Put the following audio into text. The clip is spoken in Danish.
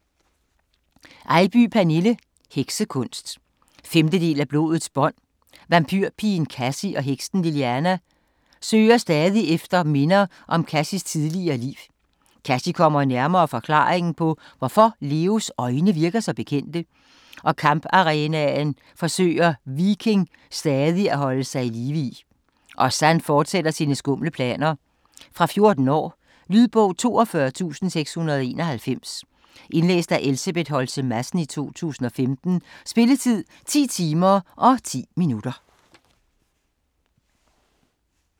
Eybye, Pernille: Heksekunst 5. del af Blodets bånd. Vampyrpigen Kassie og heksen Liliana søger stadig efter minder om Kassies tidligere liv. Kassie kommer nærmere forklaringen på hvorfor Leos øjne virker så bekendte, og i kamparenaen forsøger Viking stadig at holde sig i live, og Zan fortsætter sine skumle planer. Fra 14 år. Lydbog 42691 Indlæst af Elsebeth Holtze Madsen, 2015. Spilletid: 10 timer, 10 minutter.